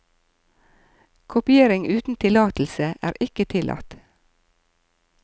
Kopiering uten tillatelse er ikke tillatt.